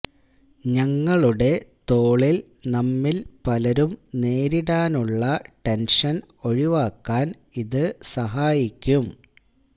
ഞങ്ങളുടെ തോളിൽ നമ്മിൽ പലരും നേരിടാനുള്ള ടെൻഷൻ ഒഴിവാക്കാൻ ഇത് സഹായിക്കും